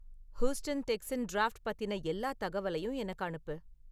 Houston Texans draft பத்தின எல்லா தகவலையும் எனக்கு அனுப்பு